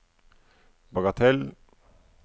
bagatell